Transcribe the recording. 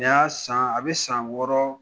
N y'a san yen, a bɛ san wɔɔrɔ